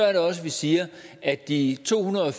er det også vi siger at de to hundrede og